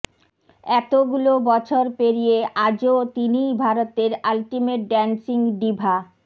এতগুলো বছর পেরিয়ে আজও তিনিই ভারতের আলটিমেট ডান্সিং ডিভা